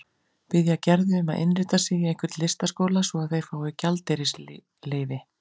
Biðja Gerði um að innrita sig í einhvern listaskóla svo að þeir fái gjaldeyrisleyfi.